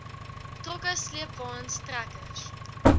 trokke sleepwaens trekkers